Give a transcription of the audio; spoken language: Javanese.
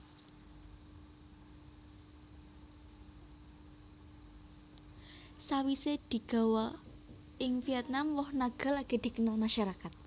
Sawisé digawa ing Vietnam woh naga lagi dikenal masyarakat